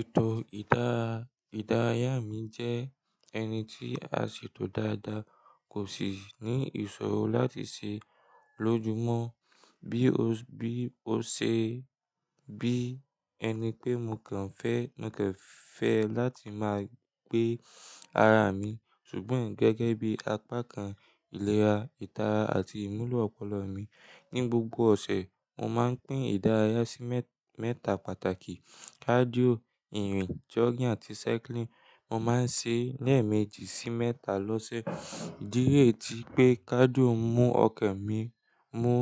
Ètò ìdárayá mi jẹ́ ẹniti àṣètò dáadáa, kò sì ní ìṣòro láti ṣe lójúmọ́. Bí o ṣe bí ẹni pé mo kàn fẹ́, mo kan fẹ láti máa gbé ara mi ṣùgbọ́n gẹ́gẹ́ bí apá kan ìlera, ìtara àti ìmúlò ọpọlọ mi. Ni gbogbo ọ̀sẹ̀, mo máa ń pín ìdárayá sí mẹ́ta pàtàkì; cardio, ìrìn, jogging àti cycling. Mo máa ń ṣe lẹ́ẹ̀meji sí mẹ́ta lọ́sẹ̀. Ìdíye tí pé cardio mú ọkàn mi mú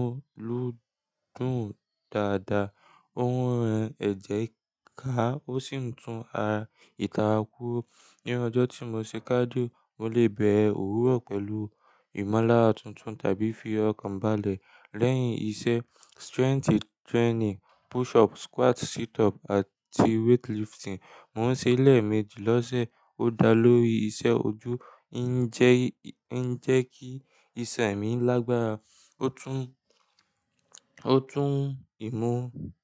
lúdùn dáadáa, ó ń ran ẹ̀jẹ̀ ká, ó sì ń tún àra itara kúrò. Ni ọjọ́ tí mo ṣe cardio, mo lè bẹ̀ ọ́ wúrọ̀ pẹ̀lú ìmúlára tuntun tàbí fi ọkàn balẹ̀. Lẹ́yìn iṣẹ́ strength training, push up, squat, sit up àti weight lifting, mò ń ṣe lẹ́ẹ̀meji lọ́sẹ̀. Ó dá lórí iṣẹ́ ojú ń jẹ́ kí isan emi lágbára. Ó tún ìmú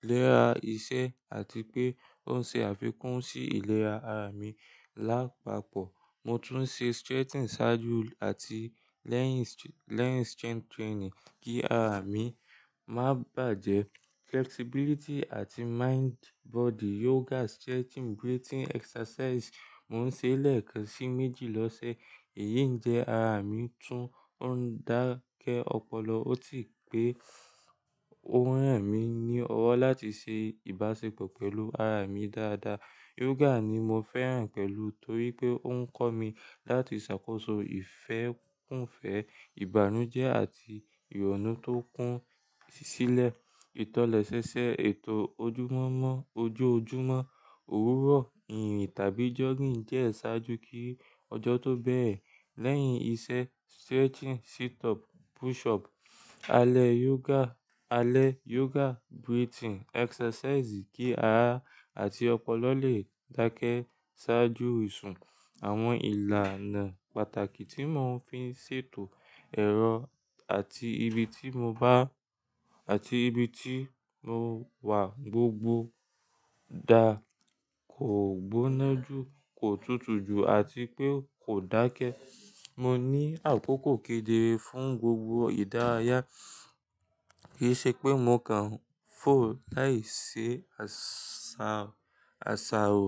léra iṣẹ́ àti pé ó ṣe àfikún sí ìlera ara mi lápapọ̀. Mo tún ń ṣe stretching ṣáájú àti lẹ́yìn strength training kí ara mi má bàjẹ́. Flexibility àti mind body yoga, stretching, breathing exercise, mò ń ṣe lẹ́ẹ̀kan sí méjì lọ́sẹ̀. Èyí ń jẹ ara mi tún, ó ń dákẹ́ ọpọlọ ó ti pé ó ń ràn mí ní ọwọ́ láti ṣe ìbáṣepọ̀ pẹ̀lú ara mi dáadáa. Yoga ni mo fẹ́ràn pẹ̀lú torí pé ó ń kọ́ mi láti ṣàkóso ìfẹ́kúnfẹ́, ìbànújẹ́ àti ìrònú tó kún sílẹ̀. Itọlesese ètò ojúmọ́mọ́ ojoojúmọ́, òwúrọ̀, ìrìn tàbí jogging jẹ́ ṣáájú kí ọjọ́ tó bẹ́rẹ̀. Lẹ́yìn iṣẹ́ stretching, sit up, push up, alẹ́ yoga, alẹ́ yoga, breathing exercise kí ara àti ọpọlọ lè dákẹ́ ṣáájú ìṣún. Àwọn ìlànà pàtàkì tí mò ń fi ṣètò ẹ̀rọ àti ibi ti àti ibi tí mo wà gbogbo da, kò gbóná jù, kò tútù jù àti pé kò dákẹ́. Mo ní àkókò kédere fún gbogbo ìdárayá kì í ṣe pé mo kàn fò láì ṣe àsàrò.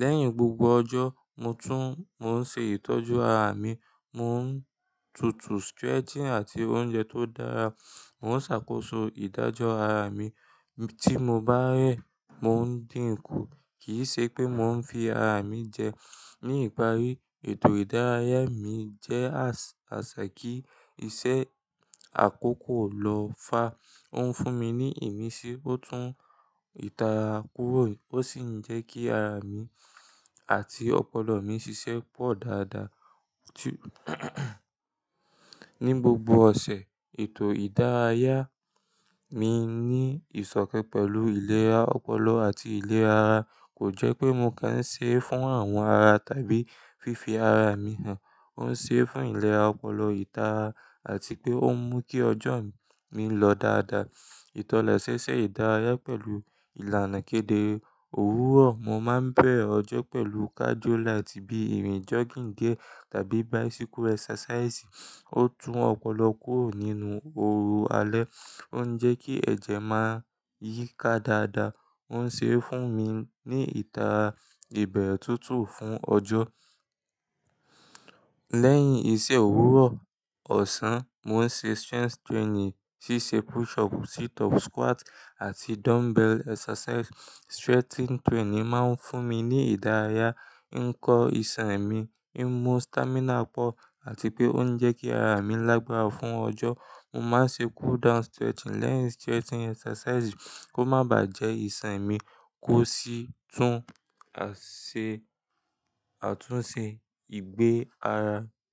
Lẹ́yìn gbogbo ọjọ́, mo tún ń ṣe ìtọ́jú ara mi, mò ń tutù stretching àti oúnjẹ tó dára. Mò ń ṣàkóso ìdájọ́ ara mi. Tí mo bá rẹ̀, mò ń dínkù kì í ṣe pé mò ń fi ara mi jẹ. Ní ìparí, ètò ìdárayá mi jẹ́ àsà kí iṣẹ́ àkókò lọ fà. Ó ń fún mi ní ìmísí, ó tún ìtara kúrò, ó sì ń jẹ́ kí ara mi àti ọpọlọ mi ṣiṣẹ́ pọ̀ dáadáa. Ni gbogbo ọ̀sẹ̀, ètò ìdárayá mi ní ìsọ̀kan pẹ̀lú ìlera ọpọlọ àti ìlera ara. Kò jẹ́ pé mo kàn ń ṣe é fún àwọn ara tàbí fífi ara mi hàn. Ó ń ṣe é fún ìlera ọpọlọ, ìtara àti pé ó ń mú kí ọjọ́ mi lọ dáadáa. Ìtọlẹ̀ẹṣe ìdárayá pẹ̀lú ìlànà kédere òwúrọ̀, mo máa ń bẹ̀re ọjọ́ pẹ̀lú cardio light bí ìrìn, jogging dié tàbí bicycle exercise. Ó tún ọpọlọ kúrò nínú oru alẹ́, ó ń jẹ́ kí ẹ̀jẹ̀ máa yíká dáadáa, ó ń ṣe fún mi ní ìtara ìbẹ̀rẹ̀ tuntun fún ọjọ́. Lẹ́yìn iṣẹ́ òwúrọ̀ ọ̀sán, mò ń ṣe strength training ṣíṣe push up, sit up, squat àti dumbbell exercise. Stretching training máa ń fún mi ní ìdárayá, ń kọ́ ìṣàn mi, ń mú stamina pọ̀ àti pé ó ń jẹ́ kí ara mi lágbára fún ọjọ́. Mo máa ń ṣe cool down stretching lẹ́yìn stretching exercise kó má bàjẹ́ ìṣàn mi kó sì tún àtúnṣe ìgbẹ́ ara.